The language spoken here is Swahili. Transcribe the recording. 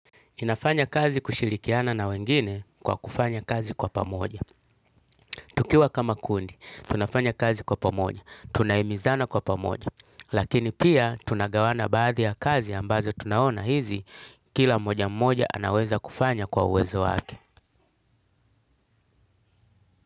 Inafanya kazi kushirikiana na wengine kwa kufanya kazi kwa pamoja. Tukiwa kama kundi, tunafanya kazi kwa pamoja, tunahimizana kwa pamoja. Lakini pia, tunagawana baadhi ya kazi ambazo tunaona hizi, kila mmoja mmoja anaweza kufanya kwa uwezo wake.